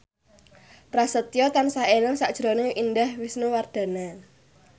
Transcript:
Prasetyo tansah eling sakjroning Indah Wisnuwardana